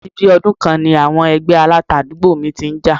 Àti bí i ọdún kan ni àwọn ẹgbẹ́ Aláta àdúgbò mi ti ń jà